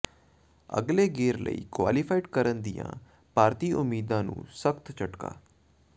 ਅਗਲੇ ਗੇਡ਼ ਲਈ ਕੁਆਲੀਫਾਈ ਕਰਨ ਦੀਆਂ ਭਾਰਤੀ ਉਮੀਦਾਂ ਨੂੰ ਸਖ਼ਤ ਝਟਕਾ